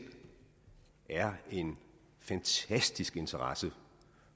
er en fantastisk interesse